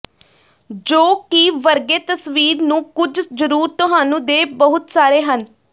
ਜੋ ਕਿ ਵਰਗੇ ਤਸਵੀਰ ਨੂੰ ਕੁਝ ਜ਼ਰੂਰ ਤੁਹਾਨੂੰ ਦੇ ਬਹੁਤ ਸਾਰੇ ਹਨ